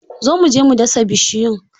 Zo mu je mu dasa bishiyun!